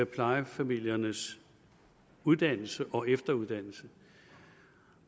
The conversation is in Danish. plejefamiliernes uddannelse og efteruddannelse